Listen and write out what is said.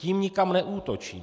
Tím nikam neútočím.